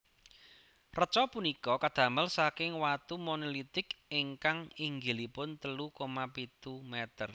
Reca punika kadamel saking watu monolitik ingkang inggilipun telu koma pitu meter